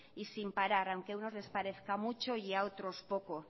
y sin parar aunque a unos les parezca mucho y a otros poco